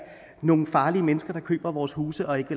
nogle farlige mennesker der køber vores huse og ikke